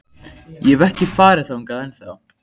Ég hef ekki farið þangað ennþá.